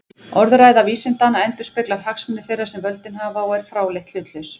Orðræða vísindanna endurspeglar hagsmuni þeirra sem völdin hafa og er fráleitt hlutlaus.